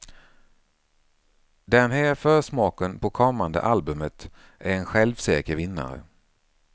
Den här försmaken på kommande albumet är en självsäker vinnare.